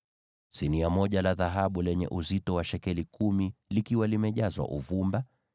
sinia moja la dhahabu lenye uzito wa shekeli kumi, likiwa limejazwa uvumba;